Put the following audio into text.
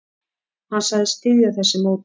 Hann sagðist styðja þessi mótmæli.